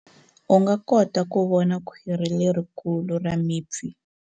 U nga kota ku vona khwiri lerikulu ra mipfi.